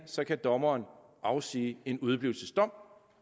så kan dommerne afsige en udeblivelsesdom